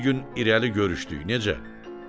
Bir gün irəli görüşdük, necə?